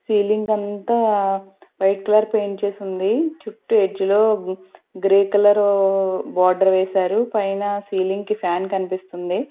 Ceiling అంతా white colour paint చేసుంది చుట్టు ఎడ్జ్ లో గ్రే కలర్ ఉ బార్డర్ వేశారు పైన సీలింగ్ కి ఫ్యాన్ కన్పిస్తుంది.